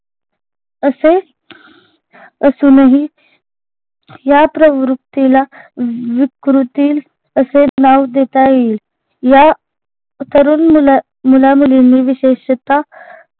असे असूनही या प्रवृत्तीला विकृती असे नाव देता येईल या तरुण मुला मुलामुलींनी विशेषतः